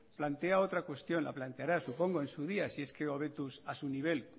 plantea otra cuestión la planteará supongo en su día si es que hobetuz a su nivel